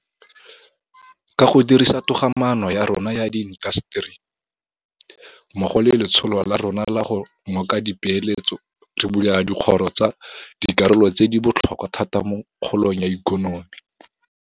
Ka go dirisa togamaano ya rona ya diintaseteri mmogo le letsholo la rona la go ngoka dipeeletso re bulela dikgoro tsa dikarolo tse di bo tlhokwa thata mo kgolong ya ikonomi.